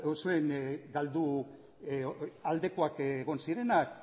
zuen galdu aldekoak egon zirenak